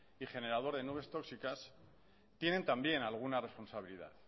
y generador de nubes tóxicas tienen también alguna responsabilidad